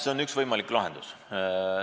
See on üks võimalik lahendus.